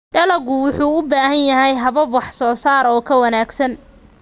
Dalaggu wuxuu u baahan yahay habab wax soo saar oo ka wanaagsan.